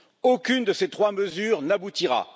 Aucune de ces trois mesures n'aboutira.